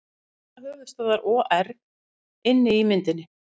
Sala höfuðstöðva OR inni í myndinni